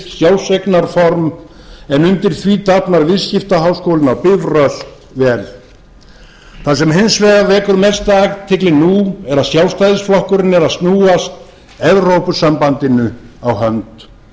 sjálfseignarform en undir því dafnar viðskiptaháskólinn á bifröst vel það sem hins vegar vekur mesta athygli nú er að sjálfstæðisflokkurinn er að snúast evrópusambandinu á hönd